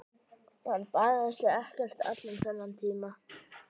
Hann baðaði sig ekkert allan þennan tíma.